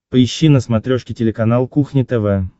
поищи на смотрешке телеканал кухня тв